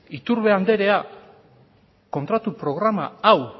iturbe anderea kontratu programa hau